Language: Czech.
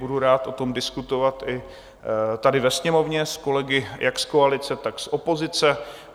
Budu rád o tom diskutovat i tady ve Sněmovně s kolegy jak z koalice, tak z opozice.